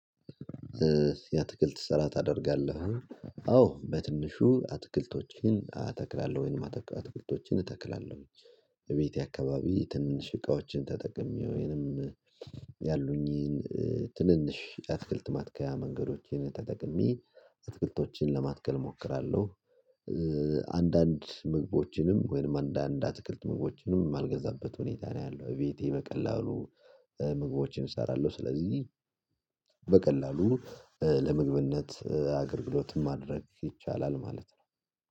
የአትክልት ስራ ታደርጋለህ። አዎ በትንሹ አትክልቶችን እተክላለሁ ወይንም እተክላለሁ አትክልቶችን እተክላለሁ። የቤቴ አካባቢ ትንሽ እቃዎችን ተጠቅሜ ወይንም ያሉኝን ትንንሽ አትክልት ማትከያ መንገዶችን ተጠቅሜ አትክልቶችን ለማትከል እሞክራለሁ። አንዳንድ ምግቦችንም ወይንም አንዳንድ አትክልት ምግቦችንም የማልገዛበት ሁኔታ ነው ያለው እቤቴ በቀላሉ ምግቦችን እሰራለሁ። ስለዚህ በቀላሉ ለምግብነት አገልግሎት ማድረግ ይቻላል ማለት ነው።